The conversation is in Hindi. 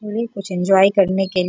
यूँ ही कुछ इंजॉय करने के --